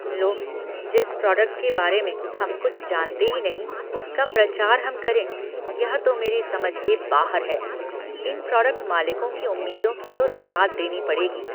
लो, जिस प्रोडक्ट के बारे में हम कुछ जानते ही नहीं उसका प्रचार हम करें, यह तो मेरी समझ के बाहर है। इन प्रोडक्ट मालिकों की उम्मीदों की तो दाद देनी पड़ेगी।